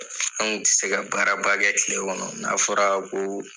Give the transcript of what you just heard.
An kun tɛ se ka baara ba kɛ kile kɔnɔ n'a fɔra ko